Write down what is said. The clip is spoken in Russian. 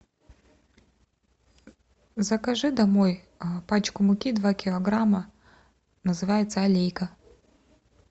закажи домой пачку муки два килограмма называется алейка